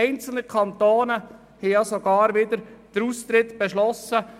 Einzelne Kantone haben sogar den Austritt beschlossen.